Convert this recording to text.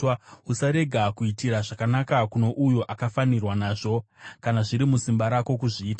Usarega kuitira zvakanaka kuno uyo akafanirwa nazvo, kana zviri musimba rako kuzviita.